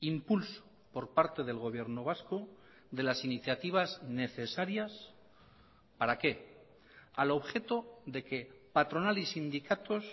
impulso por parte del gobierno vasco de las iniciativas necesarias para qué al objeto de que patronal y sindicatos